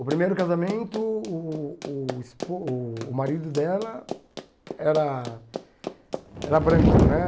O primeiro casamento, uh o espo o marido dela era era branco, né?